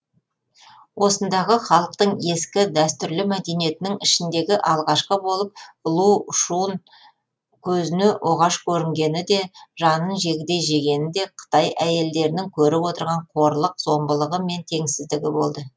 осындағы халықтың ескі дәстүрлі мәдениетінің ішіндегі алғашқы болып лу шүн көзіне оғаш көрінгені де жанын жегідей жегені де қытай әйелдерінің көріп отырған қорлық зорлығы мен теңсіздігі болды